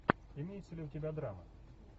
имеется ли у тебя драма